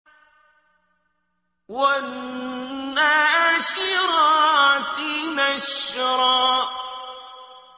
وَالنَّاشِرَاتِ نَشْرًا